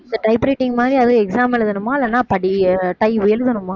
இந்த typewriting மாதிரி அதுவும் exam எழுதணுமா இல்லன்னா எழுதணுமா